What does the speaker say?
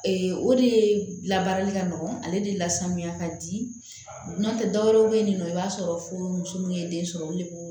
o de la baarali ka nɔgɔ ale de lasan ka di nɔntɛ dɔwɛrɛ bɛ yen nɔ i b'a sɔrɔ fo muso min ye den sɔrɔ olu de b'o